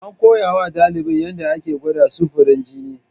An koya wa ɗalibin yadda ake gwada samfurin jini.